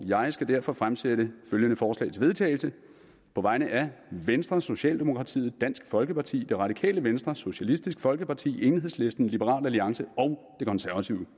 jeg skal derfor fremsætte følgende forslag til vedtagelse på vegne af venstre socialdemokratiet dansk folkeparti det radikale venstre socialistisk folkeparti enhedslisten liberal alliance og det konservative